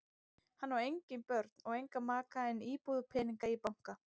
Hann á engin börn og engan maka en íbúð og peninga í banka.